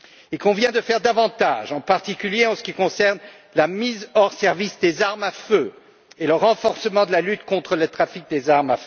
Il convient de faire davantage, en particulier, en ce qui concerne la mise hors service des armes à feu et le renforcement de la lutte contre le trafic d'armes.